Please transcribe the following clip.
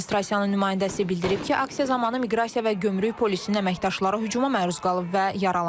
Administrasiyanın nümayəndəsi bildirib ki, aksiya zamanı miqrasiya və gömrük polisinin əməkdaşları hücuma məruz qalıb və yaralanıb.